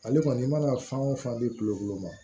Ale kɔni i mana fan wo fan di kulokolo ma